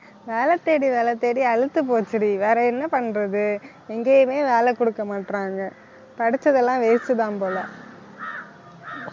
வேலை தேடி வேலை தேடி அலுத்துப் போச்சுடி வேற என்ன பண்றது எங்கேயுமே வேலை கொடுக்க மாட்றாங்க படிச்சதெல்லாம் waste தான் போல